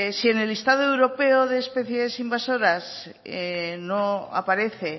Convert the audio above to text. si en el listado europeo de especies invasoras no aparece